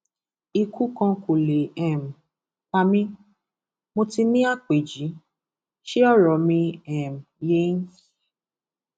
ikú kan kò lè um pa mí mo ti ní àpèjì ṣe ọrọ mi um yé yín